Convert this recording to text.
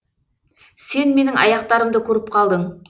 сен менің аяқтарымды көріп қалдың